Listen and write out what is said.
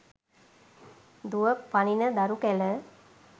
දුව පනින දරු කැල